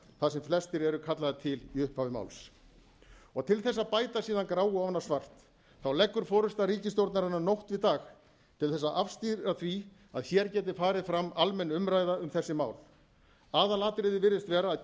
þar sem flestir eru kallaðir til í upphafi máls til þess að bæta síðan gráu ofan á svart leggur forusta ríkisstjórnarinnar nótt við dag til þess að afstýra því að hér geti farið fram almenn umræða um þessi mál aðalatriðið virðist vera að